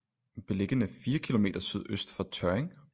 Beliggende 4 km sydøst for tørring